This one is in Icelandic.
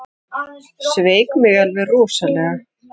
Sveik mig alveg rosalega.